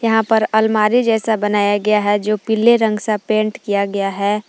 यहां पर अलमारी जैसा बनाया गया है जो पीले रंग सा पेंट किया गया है।